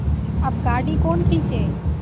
अब गाड़ी कौन खींचे